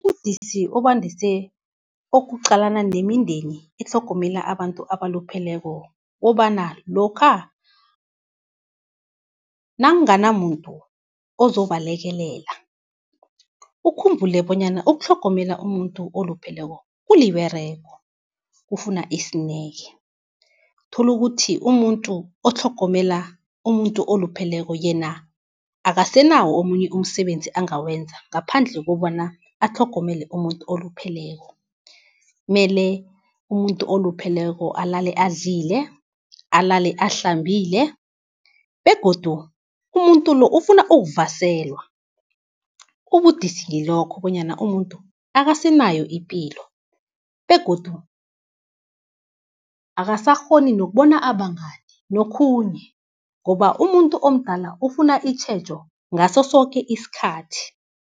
Ubudisi obandise ukuqalana nemindeni etlhogomela abantu abalupheleko, kukobana lokha nakunganamuntu ozobalekelela ukhumbule bonyana ukutlhogomela umuntu olupheleko kuliberego, kufuna isineke. Uthola ukuthi umuntu otlhogomela umuntu olupheleko yena akasenawo omunye umsebenzi angawenza ngaphandle kobana abatlhogomele umuntu olupheleko. Mele umuntu olupheleko alale adlile, alale ahlambile begodu umuntu lo ufuna ukuvaselwa. Ubudisi ngilokho bonyana umuntu akasenayo ipilo begodu akasakghoni nokubona abangani nokhunye, ngoba umuntu omdala ufuna itjhejo ngaso soke isikhathi.